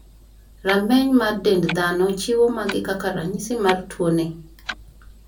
Rameny mar dend dhano chiwo magi kaka ranyisis mar tuo ni.